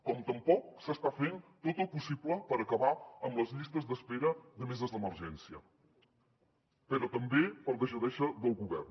com tampoc s’està fent tot el possible per acabar amb les llistes d’espera de meses d’emergència però també per deixadesa del govern